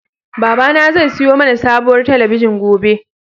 Babana zai siyo mana sabuwar talabijin gobe.